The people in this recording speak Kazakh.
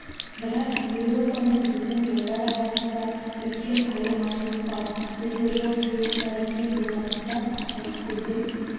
бірақ еуропа мен біздің жолдар арасында үлкен айырмашылық бар бізде жол қиылыстары кең болғандықтан полицейдің